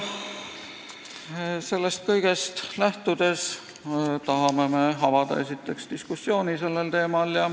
Sellest kõigest lähtudes me tahame avada, esiteks, diskussiooni sellel teemal.